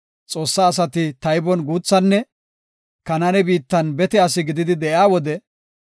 Xoossa asati taybon guuthanne Kanaane biittan bete asi gididi de7iya wode,